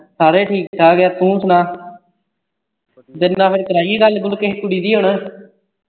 ਸਾਰੇ ਠੀਕ ਠਾਕ ਐ ਤੂੰ ਸੁਣਾ ਫੇਰ ਕਰਾਈਏ ਗਁਲ ਗੁਲ ਕਿਹੇ ਕੁੜੀ ਦੀ ਹੁਣ